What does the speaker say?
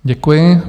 Děkuji.